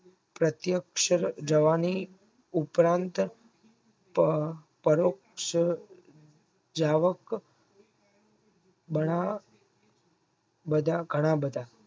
પ્રત્યક્ષ જવની ઉગ્રંત ત અ પરોક્ષ જાવક બન બધા ઘણા બધા